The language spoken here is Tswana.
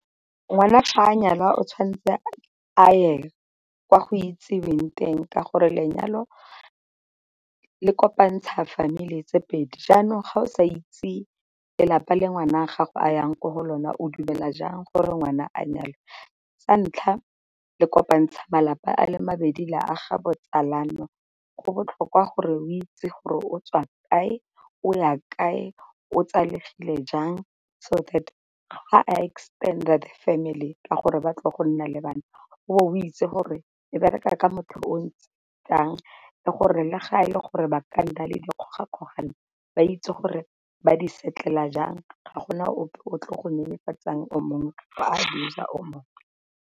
Ngwana fa a nyalwa o tshwanetse a ye kwa go itseweng teng ka gore lenyalo le kopantsha family tse pedi, jaanong ga o sa itse lelapa le ngwana a gago a yang ko go lona o dumela jang gore ngwana a nyalwe. Sa ntlha le kopantsha malapa a le mabedi la aga botsalano, go botlhokwa gore o itse gore o tswa kae o ya kae o tsalegile jang, so that ga a extend-a the family ka gore ba tlile go nna le bana. O be o itse gore le bereka ka motho o ntse jang le gore le ga e le gore ba ka nna le dikgoga-kgogano ba itse gore ba di settle-la jang ga gona ope o tlile go nyenyefatsa o mongwe or a abuser o mongwe.